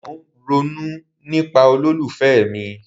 Mo ń ronú nípa olólùfẹ́ mi.